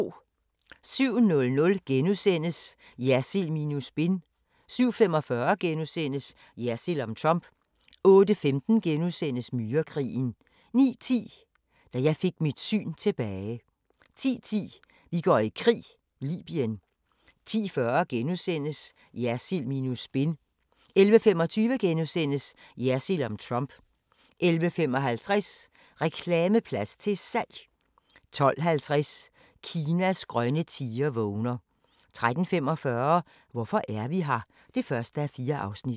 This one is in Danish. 07:00: Jersild minus spin * 07:45: Jersild om Trump * 08:15: Myrekrigen * 09:10: Da jeg fik mit syn tilbage 10:10: Vi går i krig: Libyen 10:40: Jersild minus spin * 11:25: Jersild om Trump * 11:55: Reklameplads til salg! 12:50: Kinas grønne tiger vågner 13:45: Hvorfor er vi her? (1:4)